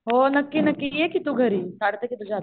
हो नक्की नक्की ये की तू घरी. काढते की तुझ्या हातावर